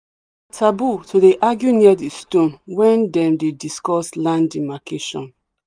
taboo to dey argue near the stone when them dey discuss land demarcation.